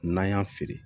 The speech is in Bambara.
N'an y'a feere